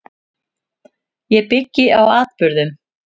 Ég byggi á atburðum.